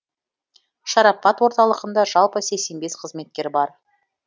шарапат орталығында жалпы сексен бес қызметкер бар